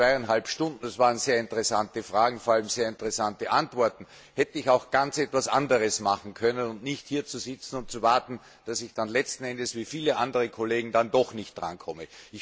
Aber in diesen zweieinhalb Stunden es waren sehr interessante Fragen, vor allem sehr interessante Antworten hätte ich auch ganz etwas anderes machen können als hier zu sitzen und zu warten, um dann letzten Endes wie viele andere Kollegen doch nicht dranzukommen.